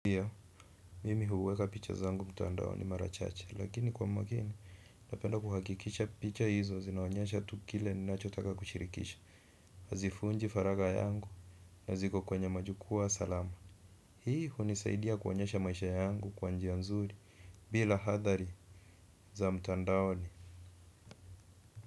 Ndio, mimi huweka picha zangu mtandaoni mara chacha, lakini kwa makini, napenda kuhakikisha picha hizo zinaonyesha tu kile ninachotaka kushirikisha. Hazivunji faragha yangu, na ziko kwenye majukwa salama. Hii hunisaidia kuonyasha maisha yangu kwa njia nzuri, bila athari za mtandaoni.